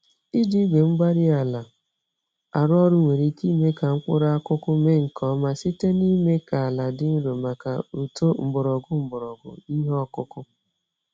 Iji igwe-mgbárí-ala arụ ọrụ nwere ike ime ka mkpụrụ akụkụ mee nke ọma site n'ime ka àlà dị nro màkà uto mgbọrọgwụ mgbọrọgwụ ìhè okụkụ